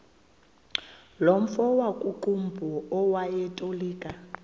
nomfo wakuqumbu owayetolika